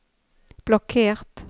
blokkert